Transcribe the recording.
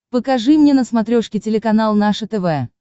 покажи мне на смотрешке телеканал наше тв